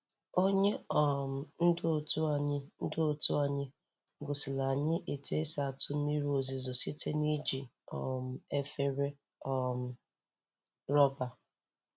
Onye um ndu otu anyị ndu otu anyị gosiri anyị otu esi atụ mmiri ozuzo site na iji um efere um rọba.